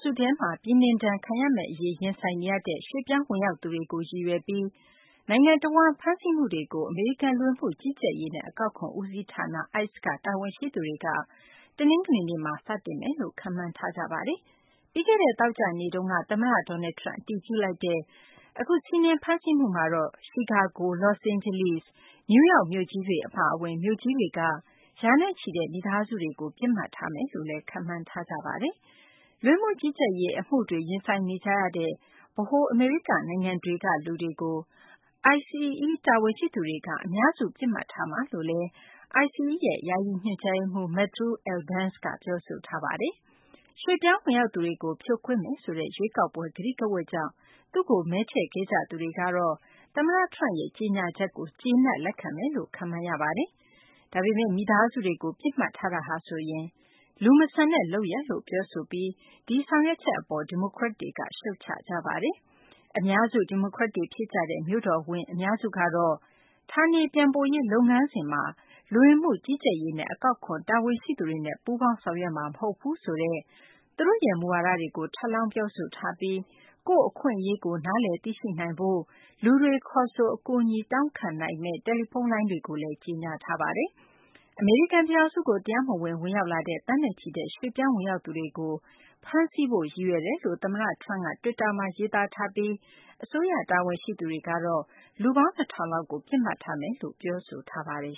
စုထဲမှာ ပြည်နှင်ဒဏ်ခံရမယ့် အရေး ရင်ဆိုင်နေရတဲ့ ရွှေ့ပြောင်းဝင်ရောက်သူတွေကို ရည်ရွယ်ပြီး နိုင်ငံတဝန်း ဖမ်းဆီးမှုတွေကို အမေရိကန် လူဝင်မှုကြီးကြပ်ရေးနဲ့ အကောက်ခွန် ဦးစီးဌာန ICE က တာဝန်ရှိသူတွေက တနင်္ဂနွေနေ့မှာ စတင်မယ်လို့ ခန့်မှန်းကြပါတယ်။ ပြီးခဲ့တဲ့ သောကြာနေ့က သမ္မတ Donald Trump အတည်ပြုလိုက်တဲ့ အခု စီးနင်းဖမ်းဆီးမှုမှာတော့ ချီကာဂို၊ လောစ့်အိန်းဂျလိစ်၊ နယူးယောက်မြို့ကြီးတွေ အပါအဝင် မြို့ကြီးတွေက ရာနဲ့ချီတဲ့ မိသားစုတွေကို ပစ်မှတ်ထားမယ်လို့ ခန့်မှန်းထားကြပါတယ်။ လူဝင်မှုကြီးကြပ်ရေး အမှုတွေ ရင်ဆိုင်နေကြရတဲ့ ဗဟို အမေရိက နိုင်ငံတွေက လူတွေကို ICE တာဝန်ရှိသူတွေက အများစု ပစ်မှတ်ထားမယ်လို့လည်း ICE ရဲ့ ယာယီ ညွှန်ကြားရေးမှူး Matthew Albence က ပြောဆိုထားပါတယ်။ ရွှေ့ပြောင်းဝင်ရောက်သူတွေကို ဖြိုခွင်းမယ်ဆိုတဲ့ ရွေးကောက်ပွဲ ကတိကဝတ်ကြောင့် သူ့ကို မဲထည့်ခဲ့ကြသူတွေကတော့ သမ္မတ Trump ရဲ့ ကြေညာချက်ကို ကျေနပ် လက်ခံမယ်လို့ ခန့်မှန်းရပါတယ်။ မိသားစုတွေကို ပစ်မှတ်ထားတာဟာဆိုရင် လူမဆန်တဲ့ လုပ်ရပ်လို့ ကြေညာပြီး ဒီဆောင်ရွက်ချက်ကို ဒီမိုကရက်တွေက ရှုတ်ချပါတယ်။ အများစု ဒီမိုကရက်တွေ ဖြစ်ကြတဲ့ မြို့တော်ဝန် အများစုကတော့ ဌာနေပြန်ပို့ရေး လုပ်ငန်းစဉ်မှာ လူဝင်မှုကြီးကြပ်ရေးနဲ့ အကောက်ခွန် တာဝန်ရှိသူတွေနဲ့ ပူးပေါင်းဆောင်ရွက်မှာ မဟုတ်ဘူးဆိုတဲ့ သူတို့ရဲ့ မူဝါဒတွေကို ထပ်လောင်း ပြောဆိုထားပြီး ကိုယ့်အခွင့်အရေးကို နားလည်သိရှိနိုင်ရေး အတွက် လူတွေ ခေါ်ဆို အကူအညီတောင်းနိုင်မယ့် တယ်လီဖုန်းလိုင်းတွေကို ကြေညာထားပါတယ်။ အမေရိကန် ပြည်ထောင်စုကို တရားမဝင် ဝင်ရောက်လာတဲ့ သန်းနဲ့ချီတဲ့ ရွှေ့ပြောင်းဝင်ရောက်သူတွေကို ဖမ်းဆီးဖို့ ရည်ရွယ်တယ်လို့ သမ္မတ Trump က တွစ်တာမှာ ရေးသားထားပြီး အစိုးရ တာဝန်ရှိသူတွေကတော့ လူပေါင်း ၂,၀၀၀ လောက်ကို ပစ်မှတ်ထားမယ်လို့ ပြောဆိုထားပါတယ်